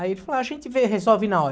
Aí ele falou, a gente vê e resolve na hora.